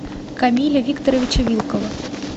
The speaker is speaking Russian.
камиля викторовича вилкова